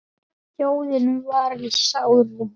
Þjóðin var í sárum.